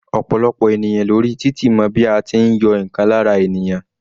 Ọ̀pọ̀lọpọ̀ ènìyàn lórí títì mọ bí a tí ń yọ ǹkan lára ènìyàn.